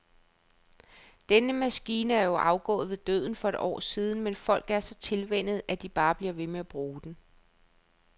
Den maskine er jo afgået ved døden for år siden, men folk er så tilvænnet, at de bare bliver ved med at bruge den.